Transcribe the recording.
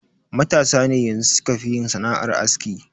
Matasa ne yanxu sukafi yin sana'ar aski.